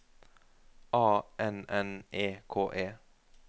A N N E K E